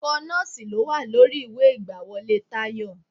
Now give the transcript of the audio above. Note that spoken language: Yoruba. Ẹ̀kọ́ nọ́ọ̀sì ló wà lórí ìwé ìgbàwọlé Tayọ.